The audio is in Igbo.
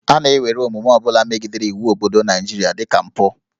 A na-ewere omume ọ bụla megidere iwu obodo Naịjirịa dị ka mpụ